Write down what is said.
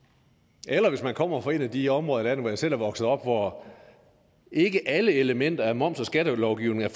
eller hvis man kommer fra et af de områder af landet jeg selv er vokset op i hvor ikke alle elementer af moms og skattelovgivningen er